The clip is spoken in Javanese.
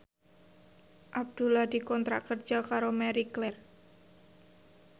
Abdullah dikontrak kerja karo Marie Claire